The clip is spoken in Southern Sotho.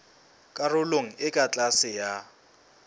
karolong e ka tlase ya